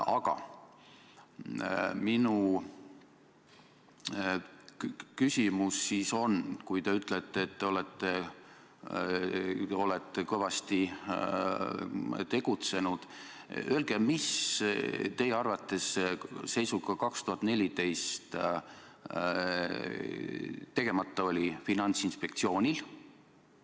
Aga minu küsimus on selline: kui te ütlete, et olete kõvasti tegutsenud, siis öelge sedagi, mis teie arvates 2014. aasta seisuga oli Finantsinspektsioonil tegemata.